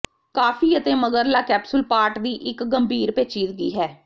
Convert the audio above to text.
ਕਾਫੀ ਅਤੇ ਮਗਰਲਾ ਕੈਪਸੂਲ ਪਾਟ ਦੀ ਇੱਕ ਗੰਭੀਰ ਪੇਚੀਦਗੀ ਹੈ